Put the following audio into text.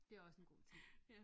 Det er også en god ting